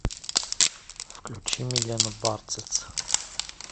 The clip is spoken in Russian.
включи милену барциц